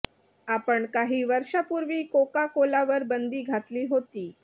आपण काही वर्षापूर्वी कोका कोलावर बंदी घातली होती